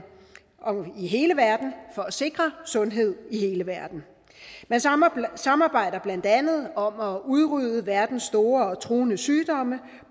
i hele verden for at sikre sundhed i hele verden man samarbejder samarbejder blandt andet om at udrydde verdens store og truende sygdomme